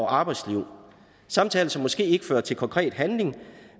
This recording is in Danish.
arbejdslivet samtaler som måske ikke fører til konkret handling